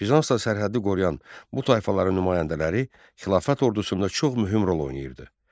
Bizansda sərhəddi qoruyan bu tayfaların nümayəndələri xilafət ordusunda çox mühüm rol oynayırdı.